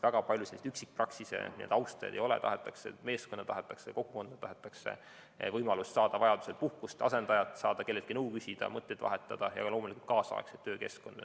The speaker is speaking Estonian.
Väga palju üksikpraksise austajaid ei ole, tahetakse meeskonda kokku panna, tahetakse võimalust saada vajaduse korral puhkust, asendajat, kelleltki nõu küsida, mõtteid vahetada ja loomulikult kaasaegset töökeskkonda.